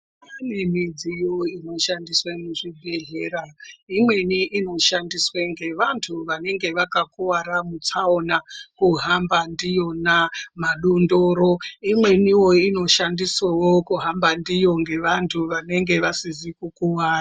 Kune midziyo inoshandiswe muzvibhedhleya, imweni inoshandiswa ngevantu vanenge vakakuvara mutsaona kuhamba ndiyona madondoro. Imweniwo inoshandiswavo kuhamba ndiyo ngevantu vanenge vasizi kukuvara.